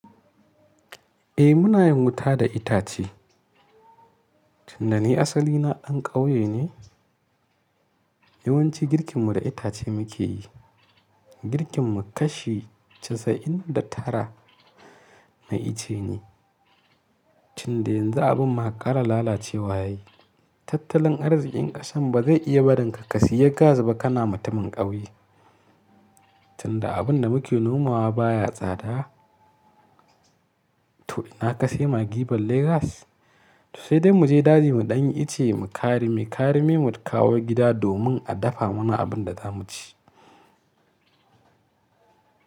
Eh muna yin wuta da itace. Tun da ni asali na ɗan ƙauye ne. Yawanci girkin mu da itace muke yi. Girkin mu kashi casa'in da tara na ice ne. Tunda yanzu abun ma ƙara lalacewa yayi. Tattalin arzikin ƙasan ba zai iya barinka ka siya gas ba kana mutumin ƙauye. Tunda abin da muke nomawa baya tsada. To ina ka sayi maggi balle gas? To sai dai mu je daji mu ɗanyi ice muyi karime, karime mu kawo gida domin a dafa mana abin da za mu ci.